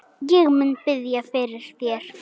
Ég mun biðja fyrir þér.